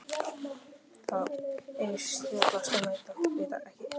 Það er víst snjallast að neita, vita ekkert, þegja.